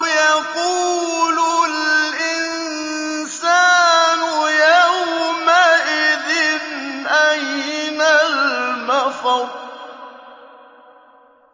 يَقُولُ الْإِنسَانُ يَوْمَئِذٍ أَيْنَ الْمَفَرُّ